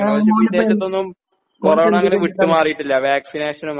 മോനിപ്പോ ആ മോനിപ്പോ എന്തു വരെയാ